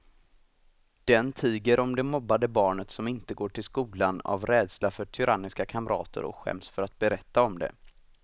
Den tiger om det mobbade barnet som inte går till skolan av rädsla för tyranniska kamrater och skäms för att berätta om det.